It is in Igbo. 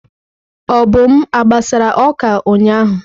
Obum a gbasara oka ụnyahụ?